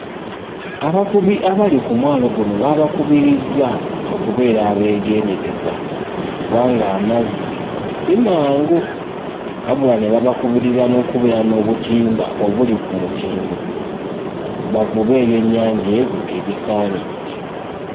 Abavubi abali ku mwalo guno baabakubirizza okubeera abeegendereza kubanga amazzi si mangu. Wabula ne babakubiriza n'okubeera n'obutimba obuli ku mutindo, bavube ebyennyanja ebyo ebisaanidde.